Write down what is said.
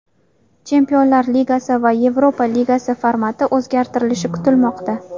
Chempionlar Ligasi va Yevropa Ligasi formati o‘zgartirilishi kutilmoqda.